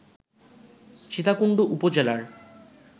সীতাকুণ্ড উপজেলার